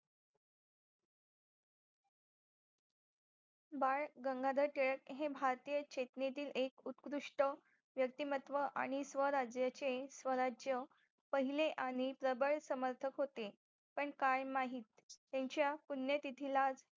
बाळ गंगाधर टिळक हे भारतीय चेतनेतील एक उत्कृष्ट व्यक्तीमत्व आणि स्वराज्याचे स्वराज्य पहिले आणि प्रबळ समर्थक होते पण काय माहित त्यांच्या पुण्यतिथीला